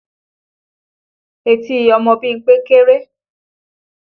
Etí ọmọ Bímpé kéré